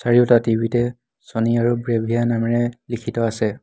চাৰিওটা টি_ভি তে চ'নি আৰু ব্ৰেভিয়া নামেৰে লিখিত আছে।